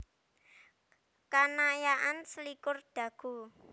Kanayakan selikur Dago